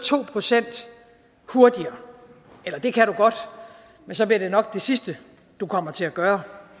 to procent hurtigere eller det kan du godt men så bliver det nok det sidste du kommer til at gøre